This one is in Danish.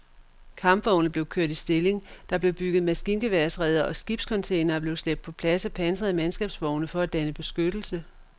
Kampvogne blev kørt i stilling, der blev bygget maskingeværsreder og skibscontainere blev slæbt på plads af pansrede mandskabsvogne for at danne beskyttelse.